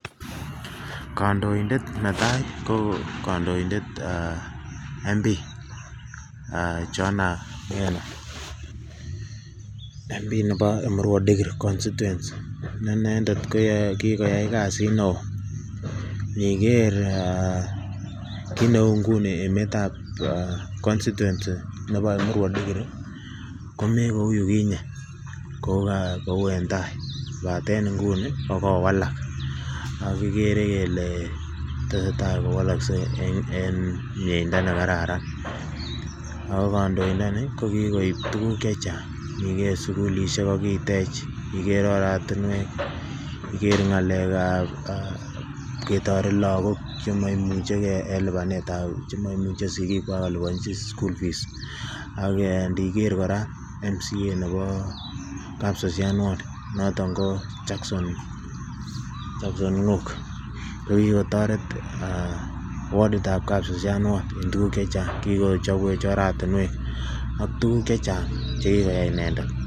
Kandoindet netaa ko kandoindet MP aah Johana Ngeno, MP nebo Emurua dikir constituency inendet kokikoyai kasit neo iniker eeh kineu nguni emetab eeh 'constituency' ne bo emurua dikir komekou yukinye kou en tai kobaten nguni kokowalak ak kiker kele tesetai kowalakse en mieindo nekararan ako kandoindoni kokikoip tuguk chechang, iniker sigulisiek kokitech, iker oratinwek, iker ng'alekab ketoret lagok chemoimuchekee en lipanetab chemoimuche sigikwak koliponji school fee, ndiker kora MCA ne bo kapsasian ward noton koo Jackson nuk kikotoret aah wardit ab kapsasian ward en tuguk chechang kikochobwech oratinwek ak tuguk chechang chekikoyai inendet .